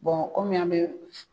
kɔmi an be